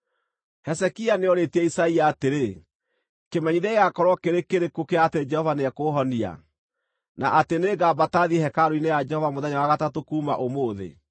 Hezekia nĩoorĩtie Isaia atĩrĩ, “Kĩmenyithia gĩgaakorwo kĩrĩ kĩrĩkũ kĩa atĩ Jehova nĩekũũhonia, na atĩ nĩngambata thiĩ hekarũ-inĩ ya Jehova mũthenya wa gatatũ kuuma ũmũthĩ?”